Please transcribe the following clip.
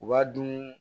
U b'a dun